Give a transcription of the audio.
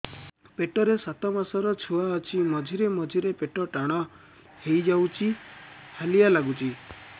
ପେଟ ରେ ସାତମାସର ଛୁଆ ଅଛି ମଝିରେ ମଝିରେ ପେଟ ଟାଣ ହେଇଯାଉଚି ହାଲିଆ ଲାଗୁଚି